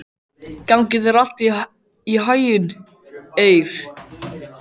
Gangi þér allt í haginn, Eir.